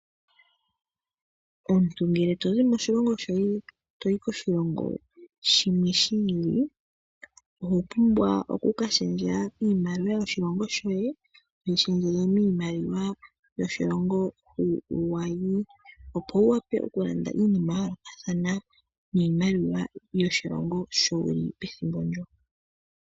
Omuntu ngele tozi moshilongo shoye toyi koshilongo shimwe shi ili, oho pumbwa oku ka shendja iimaliwa yoshilongo shoye toyi shendjele miimaliwa yoshilongo hu wayi. Opo wu wape okulanda iinima ya yoolokathana niimaliwa yoshilongo sho wu li pethimbo ndyo.